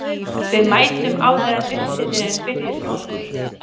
Við mætum áður en upphitunin byrjar hjá okkur.